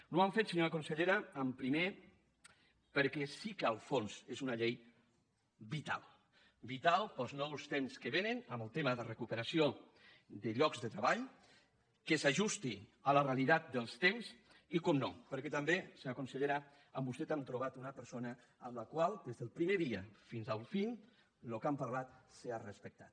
no ho hem fet senyora consellera primer perquè sí que al fons és una llei vital vital per als nous temps que vénen en el tema de recuperació de llocs de treball que s’ajusti a la realitat dels temps i naturalment perquè també senyora consellera en vostè hem trobat una persona amb la qual des del primer dia fins al final el que hem parlat s’ha respectat